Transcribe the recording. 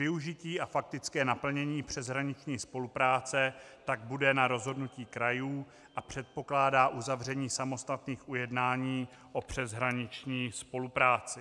Využití a faktické naplnění přeshraniční spolupráce tak bude na rozhodnutí krajů a předpokládá uzavření samostatných ujednání o přeshraniční spolupráci.